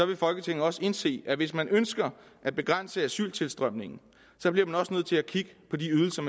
vil folketinget også indse at hvis man ønsker at begrænse asyltilstrømningen bliver man også nødt til at kigge på de ydelser